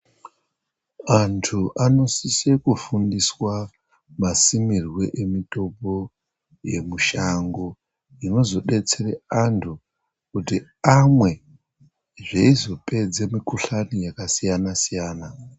Antu ano sise ku fundiswa ma simirwe emitombo ye mushango inozo detsere antu kuti amwe zveizo pedze mi kuhlani yaka siyana siyana.